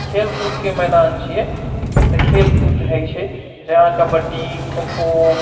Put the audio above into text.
खेल कूद के मैदान छै एते खेल कूद होय छै जेना कबड्डी खोखो--